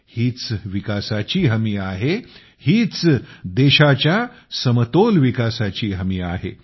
हीच विकासाची हमी आहे हीच देशाच्या समतोल विकासाची हमी आहे